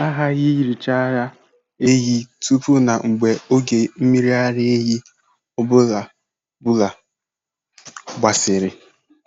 A ghaghị ihicha ara ehi tupu na mgbe oge mmiri ara ehi ọ bụla bụla bgasịrị.